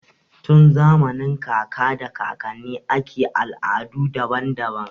Tun zamanin kaka da kakanni ake da al'adu daban-daban.